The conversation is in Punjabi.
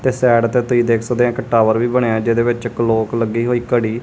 ਤੇ ਸਾਈਡ ਤੇ ਤੁਸੀਂ ਦੇਖ ਸਕਦੇ ਹ ਇੱਕ ਟਾਵਰ ਵੀ ਬਣਿਆ ਜਿਹਦੇ ਵਿੱਚ ਕਲੋਕ ਲੱਗੀ ਹੋਈ ਘੜੀ।